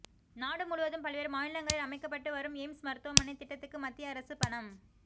நாடு முழுவதும் பல்வேறு மாநிலங்களில் அமைக்கப்பட்டு வரும் எய்ம்ஸ் மருத்துவமனைத் திட்டத்துக்கு மத்திய அரசு பணம்